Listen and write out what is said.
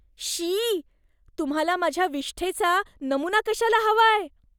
शी. तुम्हाला माझ्या विष्ठेचा नमुना कशाला हवाय?